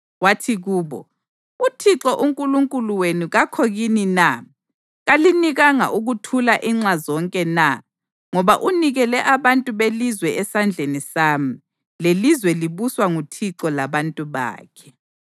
Wathi kubo, “ uThixo uNkulunkulu wenu kakho kini na? Kalinikanga ukuthula inxa zonke na? Ngoba unikele abantu belizwe esandleni sami, lelizwe libuswa nguThixo labantu bakhe.